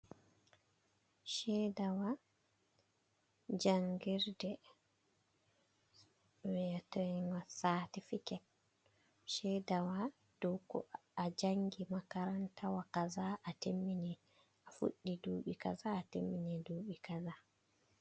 ceedawa janngirde jey wi'eteeng saatifiket, ceedawa ɗo ko a janngi makarantawa kaza a timmini. A fuɗɗi duuɓi kaza ,a timmini duuɓi kaza.